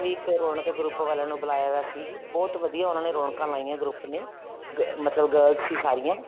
ਵੀ ਇੱਕ ਰੋਨਕ group ਵਾਲਿਆਂ ਨੂੰ ਬੁਲਾਈਆਂ ਹੋਇਆ ਸੀ ਬਹੁਤ ਵਧੀਆ ਉਹਨਾ ਨੇ ਰੋਣਕਾਂ ਲਗਾਈਆਂ ਉਸ group ਨੇ ਮਤਲਬ girls ਸੀ ਸਾਰੀਆਂ